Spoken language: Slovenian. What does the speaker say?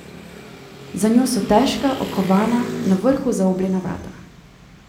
Za njo so težka, okovana, na vrhu zaobljena vrata.